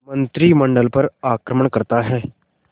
मंत्रिमंडल पर आक्रमण करता है